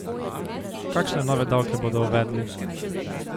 Kakšne nove davke bodo uvedli?